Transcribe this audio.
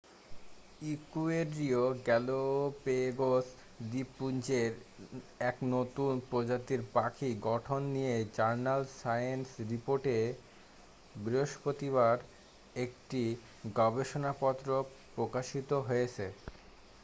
ইকুয়েডরীয় Galapagos দ্বীপপুঞ্জের এক নতুন প্রজাতির পাখির গঠন নিয়ে জার্নাল সায়েন্স রিপোর্টে বৃহস্পতিবার একটি গবেষণাপত্র প্রকাশিত হয়েছে